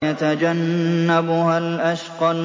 وَيَتَجَنَّبُهَا الْأَشْقَى